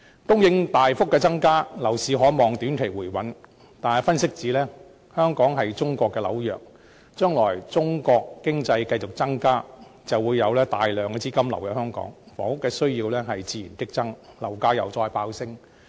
供應大幅增加，樓市可望於短期內回穩，但有分析指出，香港是中國的紐約，將來隨着中國經濟繼續加強，會有大量資金流入香港，房屋需要自然激增，樓價會再度飆升。